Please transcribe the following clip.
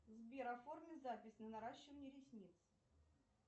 сбер оформи запись на наращивание ресниц